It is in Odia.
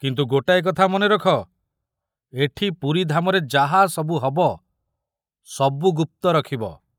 କିନ୍ତୁ ଗୋଟାଏ କଥା ମନେ ରଖ, ଏଠି ପୁରୀଧାମରେ ଯାହା ସବୁ ହବ, ସବୁ ଗୁପ୍ତ ରଖିବ।